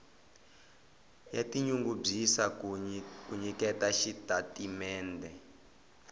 ya tinyungubyisa ku nyiketa xitatimendhe